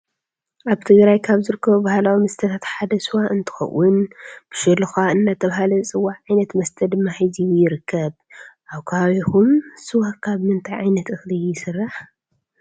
አብ ትግራይ ካብ ዝርከቡ ባህላዊ መስተታት ሓደ ስዋ እዩ እንትኮን ብሸሎካ እናተባህለ ዝፀዋዕ ዓይነት መስተይ ድማ ሒዙ ይርከብ። አብ ከባቢኩም ስዋ ካብ ምንታይ ዓይነት እክሊ ይስራሕ?